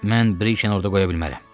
Mən Brije orada qoya bilmərəm.